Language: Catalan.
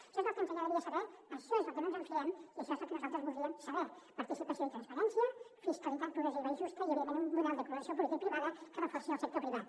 això és el que ens agradaria saber això és del que no ens fiem i això és el que nosaltres voldríem saber participació i transparència fiscalitat progressiva i justa i evidentment un model de cooperació publica i privada que reforci el sector privat